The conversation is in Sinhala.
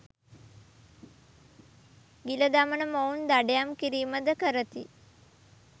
ගිල දමන මොවුන් දඩයම් කිරීම ද කරති.